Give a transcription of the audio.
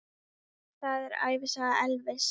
Þetta er ævisaga Elvis!